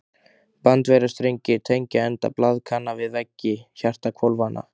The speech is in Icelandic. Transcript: Bandvefjarstrengir tengja enda blaðkanna við veggi hjartahvolfanna.